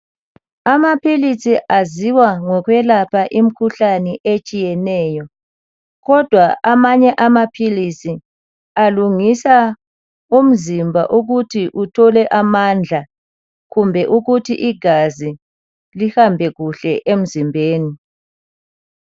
Amaphilisi aziwa ngokwelapha imkhuhlane etshiyeneyo kodwa amanye amaphilisi alungisa umzimba ukuthi uthole amandla kumbe ukuthi igazi lihamba kuhle emzimbeni.